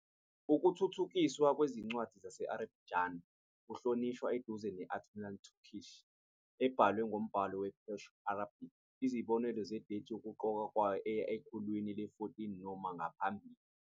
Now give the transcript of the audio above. Ukuthuthukiswa kwezincwadi zesi-Azerbaijani kuhlotshaniswa eduze ne-Anatolian Turkish, ebhalwe ngombhalo we-Perso-Arabic. Izibonelo zedethi yokuqoqwa kwayo eya ekhulwini le-14 noma ngaphambili.